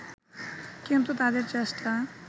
কিন্তু তাদের চেষ্টা